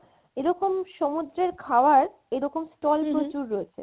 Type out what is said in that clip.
এরকম সমুদ্রে খাওয়ার এরকম stall হম হম প্রচুর রয়েছে